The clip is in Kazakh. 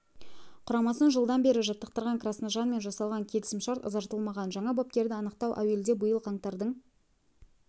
құрамасын жылдан бері жаттықтырған красножанмен жасалған келісім шарт ұзартылмаған жаңа бапкерді анықтау әуелде биыл қаңтардың